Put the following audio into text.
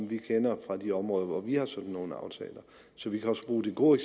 vi kender fra de områder hvor vi har sådan nogle aftaler så vi kan også bruge det gode